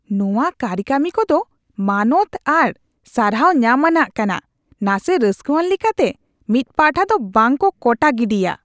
ᱱᱚᱶᱟ ᱠᱟᱹᱨᱤᱠᱟᱹᱢᱤ ᱠᱚ ᱫᱚ ᱢᱟᱱᱚᱛ ᱟᱨ ᱥᱟᱨᱦᱟᱣ ᱧᱟᱢ ᱟᱱᱟᱜ ᱠᱟᱱᱟ, ᱱᱟᱥᱮ ᱨᱟᱹᱥᱠᱟᱹᱣᱟᱱ ᱞᱮᱠᱟᱛᱮ ᱢᱤᱫ ᱯᱟᱦᱴᱟ ᱫᱚ ᱵᱟᱝ ᱠᱚ ᱠᱚᱴᱟ ᱜᱤᱰᱤᱜᱼᱟ ᱾